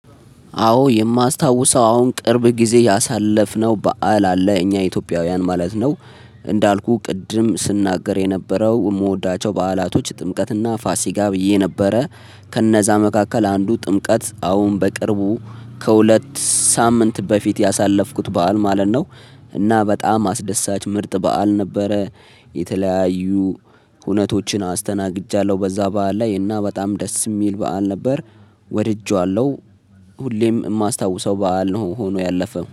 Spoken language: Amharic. አዎ የማስታውሰው አሁን ቅርብ ጊዜ ያሳለፍነው በዓል አለ እኛ ኢትዮጵያውያን ማለት ነው። እንዳልኩህ ቅድም ስናገር የነበረው የምወዳቸው በዓላቶች ጥምቀትና ፋሲካ ብዬ ነበረ። ከነዛ መካከል አንዱ ጥምቀት አሁን በቅርቡ ከሁለት ሳምንት በፊት ያሳለፍኩት በዓል ማለት ነው። እና በጣም አስደሳች ምርጥ በዓል ነበረ። የተለያዩ ሁነቶችን አስተናግጃለሁ በዛ በዓል ላይ እና በጣም ደስ የሚል በዓል ነበር። ወድጄዋለሁ። ሁሌም ማስታውሰው በዓል ነው ሆኖ ያለፈው